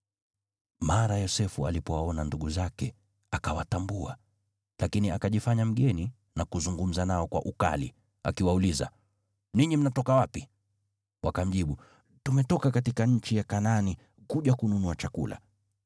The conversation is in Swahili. Mara Yosefu alipowaona ndugu zake, akawatambua, lakini akajifanya mgeni na kuzungumza nao kwa ukali, akiwauliza, “Ninyi mnatoka wapi?” Wakamjibu, “Tumetoka katika nchi ya Kanaani kuja kununua chakula.”